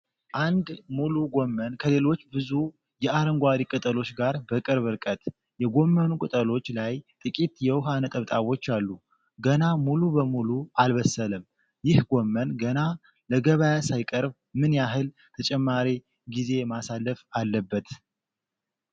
አንድ ሙሉ ጎመን ከሌሎች ብዙ የአረንጓዴ ቅጠሎች ጋር በቅርብ ርቀት፤ የጎመኑ ቅጠሎች ላይ ጥቂት የውሃ ነጠብጣቦች አሉ፤ ፣ ገና ሙሉ በሙሉ አልበሰለም፤ ይህ ጎመን ገና ለገበያ ሳይቀርብ ምን ያህል ተጨማሪ ጊዜ ማሳለፍ አለበት?